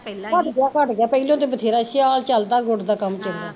ਘੱਟ ਗਿਆ ਘੱਟ ਗਿਆ ਪੈਹਲਾ ਤੇ ਵਧੇਰਾ ਸੀ ਸਿਆਲ ਚੱਲਦਾ ਗੁੜ ਦਾ ਕੰਮ